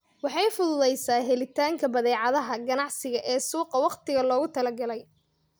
Waxay fududaysaa helitaanka badeecadaha ganacsiga ee suuqa wakhtiga loogu talagalay.